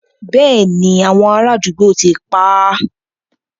Béèni, àwọn ará àdúgbò ti pá á.